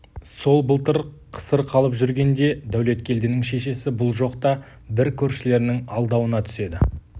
сол былтыр қысыр қалып жүргенде дәулеткелдінің шешесі бұл жоқта бір көршілерінің алдауына түседі